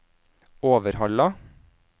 Overhalla